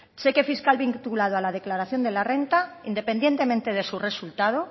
cheque fiscal vinculado a la declaración de la renta independientemente de su resultado